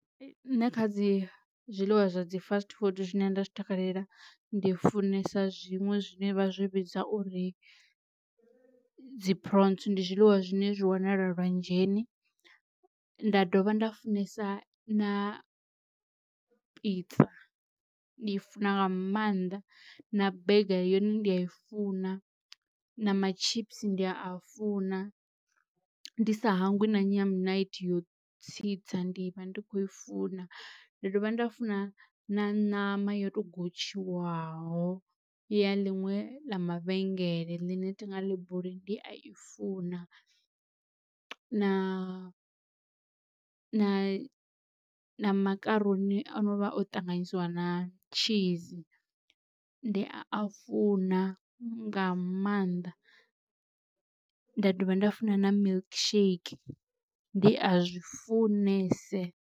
Nṋe kha dzi zwiḽiwa zwa dzi fast food zwine nda zwi takalela ndi funesa zwiṅwe zwine vha zwi vhidza uri dzi prawns ndi zwiḽiwa zwine zwi wanala lwanzheni. Nda dovha nda funesa na pizza ndi i funa nga maanḓa na burger yone ndi a i funa, na ma chips ndi a funa ndi sa hangwi na nyamunaithi ya u tsitsa ndi vha ndi khou i funa, ndi dovha nda funa na ṋama yo to gotshiwaho ya ḽiṅwe ḽa mavhengele ḽine thinga ḽibuli ndi a i funa, na na makaroni a no vha o ṱanganyisiwa na cheese ndi a funa nga maanḓa, nda dovha nda funa na milkshake ndi a zwi funese.